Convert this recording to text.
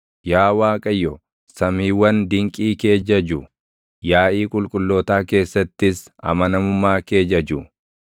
Yaa Waaqayyo, samiiwwan dinqii kee jaju; yaaʼii qulqullootaa keessattis amanamummaa kee jaju.